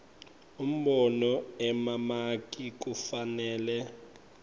umbono emamaki kufanele